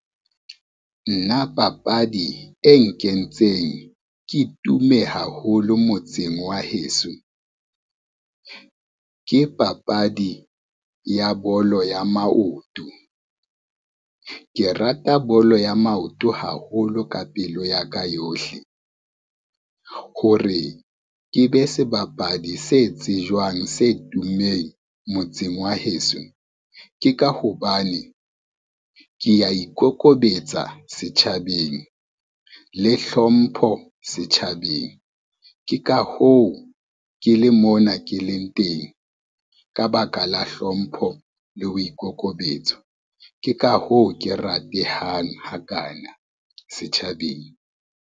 Nna papadi e nkentseng ke tume haholo motseng wa heso, ke papadi ya bolo ya maoto. Ke rata bolo ya maoto haholo ka pelo ya ka yohle, hore ke be sebapadi se tsejwang, se tummeng motseng wa heso, ke ka hobane ke ya ikokobetsa setjhabeng le hlompho setjhabeng, ke ka hoo ke le mona ke leng teng ka baka la hlompho le boikokobetso, ke ka hoo ke ratehang ha kana setjhabeng.